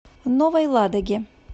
новой ладоге